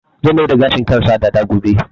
Zai mai da gashin kansa dada gobe